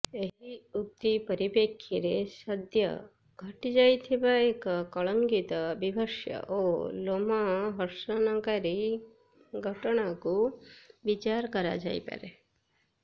ଏହି ଉକ୍ତି ପରିପ୍ରେକ୍ଷୀରେ ସଦ୍ୟ ଘଟିଯାଇଥିବା ଏକ କଳଙ୍କିତ ବୀଭତ୍ସ ଓ ଲୋମହର୍ଷଣକାରୀ ଘଟଣାକୁ ବିଚାର କରାଯାଇପାରେ